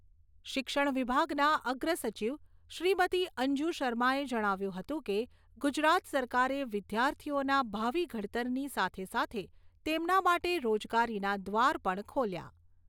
શિક્ષણ વિભાગના અગ્ર સચિવ શ્રીમતી અંજુ શર્માએ જણાવ્યું હતું કે, ગુજરાત સરકારે વિદ્યાર્થિઓના ભાવિ ઘડતરની સાથે સાથે તેમના માટે રોજગારીના દ્વાર પણ ખોલ્યા